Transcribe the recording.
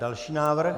Další návrh?